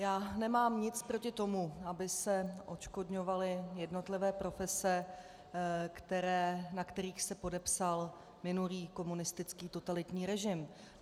Já nemám nic proti tomu, aby se odškodňovaly jednotlivé profese, na kterých se podepsal minulý komunistický totalitní režim.